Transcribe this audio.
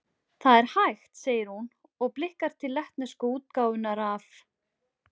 Það er hægt, segir hún, og blikkar til lettnesku útgáfunnar af